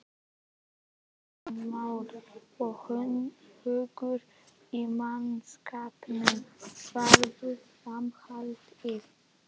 Kristján Már: Og hugur í mannskapnum varðandi framhaldið?